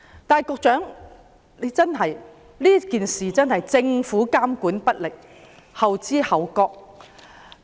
但是，政府在這件事上真的監管不力，後知後覺。